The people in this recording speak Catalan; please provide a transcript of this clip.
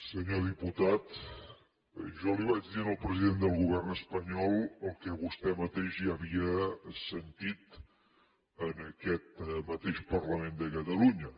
senyor diputat jo li vaig dir al president del govern espanyol el que vostè mateix ja havia sentit en aquest mateix parlament de catalunya